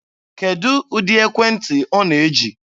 Kedụ ụdị ekwentị ọ na-eji?